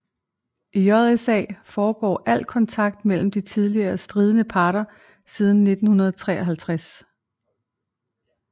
I JSA foregår al kontakt mellem de tidligere stridende parter siden 1953